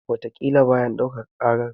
Wataƙila bayan ɗaukaka ƙarar.